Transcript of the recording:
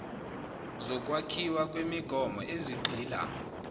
zokwakhiwa kwemigomo ezigxila